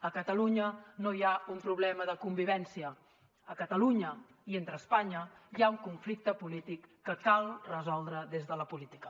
a catalunya no hi ha un problema de convivència entre catalunya i espanya hi ha un conflicte polític que cal resoldre des de la política